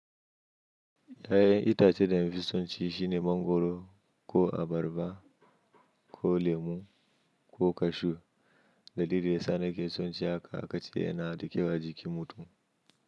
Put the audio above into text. Kayan itace da na fi son ci shine mangwaro ko abarba ko lemu ko kashu. Dalili da yasa nake son ci haka aka ce yana da kyau a jikin mutum.